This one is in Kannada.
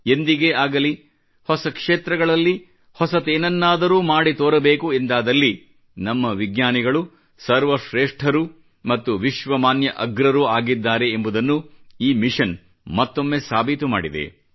ಎಂದಿಗೇ ಆಗಲಿ ಹೊಸ ಕ್ಷೇತ್ರಗಳಲ್ಲಿ ಹೊಸತೇನನ್ನಾದರೂ ಮಾಡಿ ತೋರಬೇಕು ಎಂದಾದಲ್ಲಿ ನಮ್ಮ ವಿಜ್ಞಾನಿಗಳು ಸರ್ವ ಶ್ರೇಷ್ಠರೂ ಮತ್ತು ವಿಶ್ವಮಾನ್ಯ ಅಗ್ರರೂ ಆಗಿದ್ದಾರೆ ಎಂಬುದನ್ನು ಈ ಮಿಶನ್ ಮತ್ತೊಮ್ಮೆ ಸಾಬೀತು ಮಾಡಿದೆ